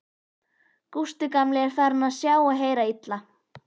Gústi gamli er farinn að sjá og heyra illa.